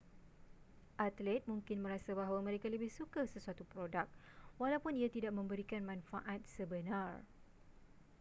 atlet mungkin merasa bahawa mereka lebih suka sesuatu produk walaupun ia tidak memberikan manfaat sebenar